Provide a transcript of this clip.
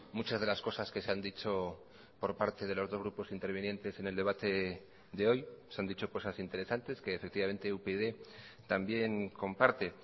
muchas de las cosas que se han dicho por parte de los dos grupos intervinientes en el debate de hoy se han dicho cosas interesantes que efectivamente upyd también comparte